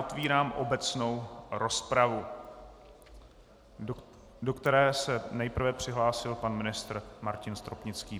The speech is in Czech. Otevírám obecnou rozpravu, do které se nejprve přihlásil pan ministr Martin Stropnický.